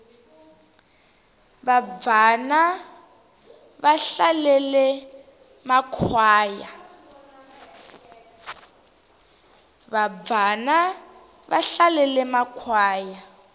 vabvana va hlalele makhwaya